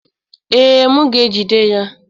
Ee, m ga-ejide ya.